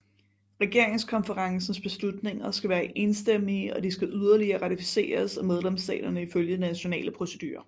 Regeringskonferencens beslutninger skal være enstemmige og de skal yderligere ratificeres af medlemsstaterne ifølge de nationale procedurer